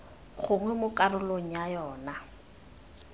gongwe mo karolong ya yona